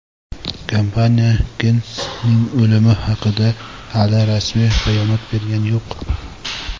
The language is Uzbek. Kompaniya Gensning o‘limi haqida hali rasmiy bayonot bergani yo‘q.